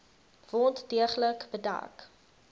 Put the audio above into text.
wond deeglik bedek